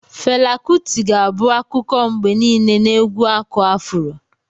Fela Kuti ga-abụ akụkọ mgbe niile na egwu aku afuro.